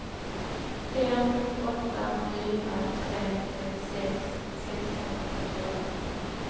fem åtta fyra tre trettiosex sexhundrasjuttioåtta